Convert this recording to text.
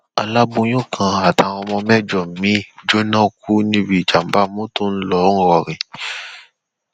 aláboyún kan àtàwọn mẹjọ miín jóná kú níbi ìjàmbá motor ńlọrọrìn